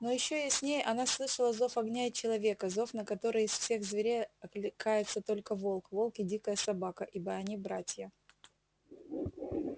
но ещё яснее она слышала зов огня и человека зов на который из всех зверей окликается только волк волк и дикая собака ибо они братья